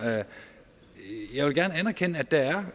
jeg vil gerne anerkende at der er